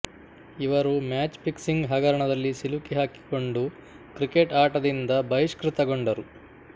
ಇವರು match fixing ಹಗರಣದಲ್ಲಿ ಸಿಲುಕಿಹಾಕಿಕೊಂಡು ಕ್ರಿಕೆಟ್ ಆಟದಿಂದ ಬಹಿಷ್ಕೃತಗೊಂಡರು